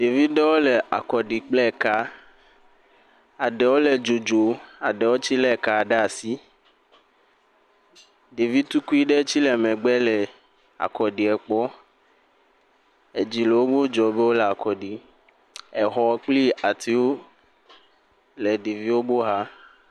Ɖevi ɖewo le akɔ ɖi kple ekaa. Aɖewo le dzodzoo, aɖewo tsɛ lé kaa ɖaa si. Ɖevi tukui ɖe tsɛ le megbe le akɔɖiɛ kpɔ. Edzi le wodzɔɔ be yewole akɔ ɖii. Exɔ kple atiwo le ɖeviwo bo xa.